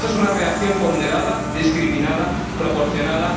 ¿Es esta una reacción ponderada, discriminada, proporcionada?